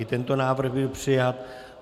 I tento návrh byl přijat.